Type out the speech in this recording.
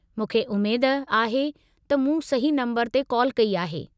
मूंखे उमेद आहे त मूं सही नंबरु ते कॉल कई आहे।